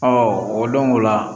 o don o la